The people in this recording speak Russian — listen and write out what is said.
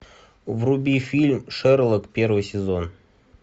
вруби фильм шерлок первый сезон